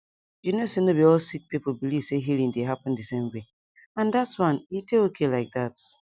you know say no be all all sick people believe say healing dey happen the same way and that one e dey okay like that